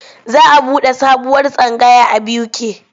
Za a buɗe sabuwar tsangaya a BUK.